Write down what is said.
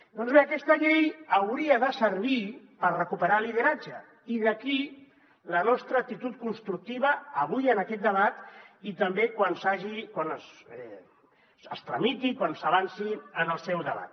doncs bé aquesta llei hauria de servir per recuperar lideratge i d’aquí la nostra actitud constructiva avui en aquest debat i també quan es tramiti quan s’avanci en el seu debat